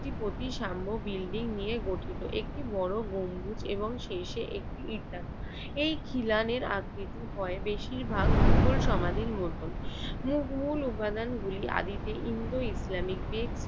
একটি প্রতি সাম্য বিল্ডিং নিয়ে গঠিত। একটি বড় গম্বুজ এবং শেষে একটি ইটান এই খিলানের আর কিছু হয় বেশিরভাগ মুঘল সমাধির মতন, মুঘল উপাদানগুলি আদৌতে ইন্দো ইসলামিক দিক